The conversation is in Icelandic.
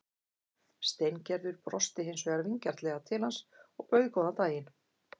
Steingerður brosti hins vegar vingjarnlega til hans og bauð góðan daginn.